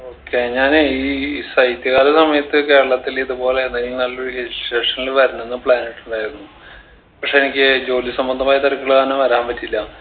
okay ഞാനേ ഈ ശൈത്യകാല സമയത്ത് കേരളത്തിൽ ഇതുപോലെ ഏതെങ്കിലും നല്ലൊരു hill station ല് വരണംന്ന് plan ഇട്ടിട്ടുണ്ടായിരുന്നു പക്ഷെ എനിക്ക് ജോലി സംബന്ധമായ തിരക്കുകൾ കാരണം വരാൻ പറ്റിയില്ല